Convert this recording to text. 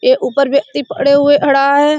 ए ऊपर व्यक्ति पड़े हुए खड़ा है।